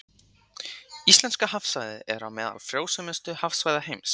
Íslenska hafsvæðið er á meðal frjósömustu hafsvæða heims.